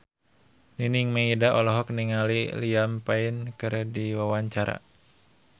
Nining Meida olohok ningali Liam Payne keur diwawancara